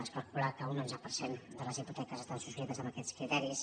es calcula que un onze per cent de les hipoteques estan subscrites amb aquests criteris